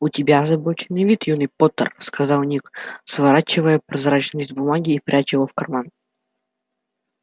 у тебя озабоченный вид юный поттер сказал ник сворачивая прозрачный лист бумаги и пряча его в карман